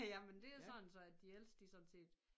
Jamen det er sådan så at de ældste de sådan set